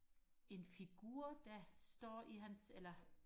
en figur der står i hans eller